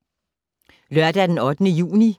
Lørdag d. 8. juni 2013